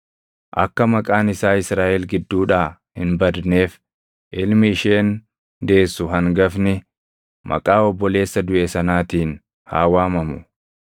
Akka maqaan isaa Israaʼel gidduudhaa hin badneef ilmi isheen deessu hangafni maqaa obboleessa duʼe sanaatiin haa waamamu.